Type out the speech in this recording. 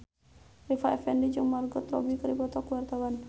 Rita Effendy jeung Margot Robbie keur dipoto ku wartawan